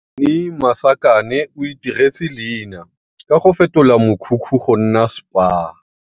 Thaini Masakane o itiretse leina ka go fetola mokhukhu go nna spa.